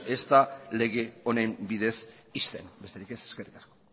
ez da lege honen bidez ixten besterik ez eskerrik asko